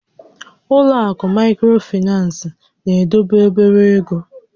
Ụlọ àkụ̀ Maịkrofinans na-edobe obere égo